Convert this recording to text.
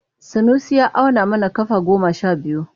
Sanusi ya auna kafa goma sha biyu.